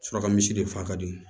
Suraka misi de fa ka di